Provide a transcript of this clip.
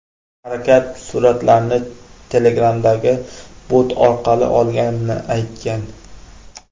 Harakat suratlarni Telegram’dagi bot orqali olganini aytgan.